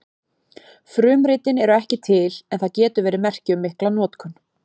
Frumritin eru ekki til en það getur verið merki um mikla notkun.